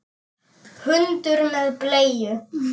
Hundur með bleiu!